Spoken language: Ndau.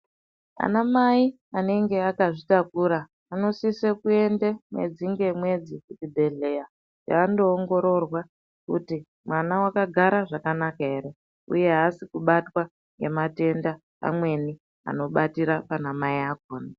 Anamai anenge akazvitakura anosisa kuenda mwedzingemwedzi kuzvibhehlera. Aongororwe kuti mwana wakagara zvakanaka ere ,uye aasi kubatwa ngematenda amweni anobata anamai acho